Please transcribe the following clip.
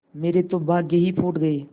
मेरे तो भाग्य ही फूट गये